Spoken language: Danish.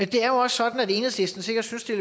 det er jo også sådan at enhedslisten sikkert synes det